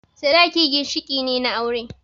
Sadaki ginshiƙi ne na aure